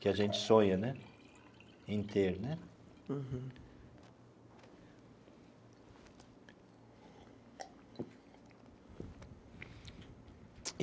que a gente sonha né em ter né. Uhum.